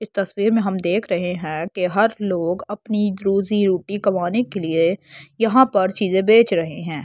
इस तस्वीर में हम देख रहे हैं कि हर लोग अपनी रोजी रोटी कमाने के लिए यहां पर चीजें बेच रहे हैं।